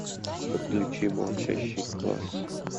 подключи молчащий класс